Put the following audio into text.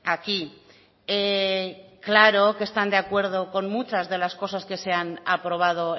aquí claro que están de acuerdo con muchas de las cosas que se han aprobado